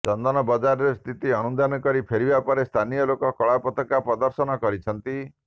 ଚନ୍ଦନବଜାରରେ ସ୍ଥିତି ଅନୁଧ୍ୟାନ କରି ଫେରିବା ପରେ ସ୍ଥାନୀୟ ଲୋକ କଳାପତାକା ପ୍ରଦର୍ଶନ କରିଛନ୍ତି